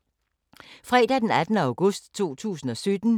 Fredag d. 18. august 2017